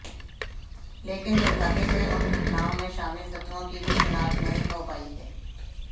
लेकिन दुर्भाग्य से उन घटनाओं में शामिल तत्त्वों की भी शिनाख्त नहीं हो पाई है